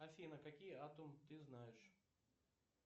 афина какие атом ты знаешь